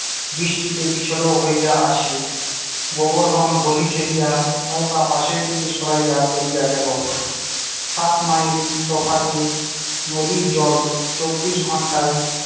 বৃষ্টিতে পিছল ও হইয়া আছে গোবরধন গোলি ঠেলিয়া নৌকা পাশের দিকে সরাইয়া লইয়া গেল। সাতমাইল তফাতে নদীর জল চব্বিশ ঘন্টাই